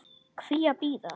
Hví að bíða?